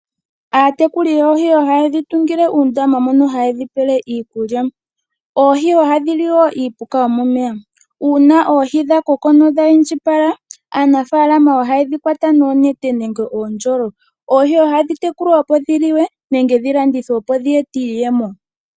Aatekuli yoohi ohayedhi tungile uundama moka hayedhi pela iikulya. Oohi ohadhi li wo iipuka yomomeya. Una oohi dha koko nodha indjipala aanafalama ohayedhi kwata noonete nenge oondjolo. Oohi ohadhi tekulwa opo dhi liwe, nenge dhi landithwe dho dhi ete iiyemo.